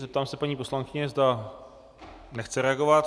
Zeptám se paní poslankyně, zda nechce reagovat?